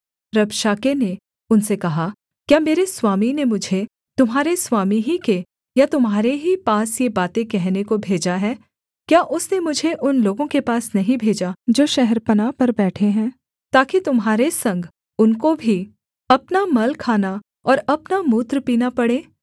रबशाके ने उनसे कहा क्या मेरे स्वामी ने मुझे तुम्हारे स्वामी ही के या तुम्हारे ही पास ये बातें कहने को भेजा है क्या उसने मुझे उन लोगों के पास नहीं भेजा जो शहरपनाह पर बैठे हैं ताकि तुम्हारे संग उनको भी अपना मल खाना और अपना मूत्र पीना पड़े